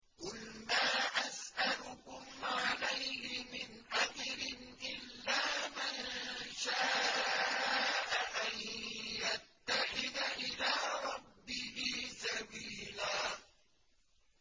قُلْ مَا أَسْأَلُكُمْ عَلَيْهِ مِنْ أَجْرٍ إِلَّا مَن شَاءَ أَن يَتَّخِذَ إِلَىٰ رَبِّهِ سَبِيلًا